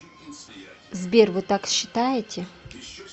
сбер вы так считаете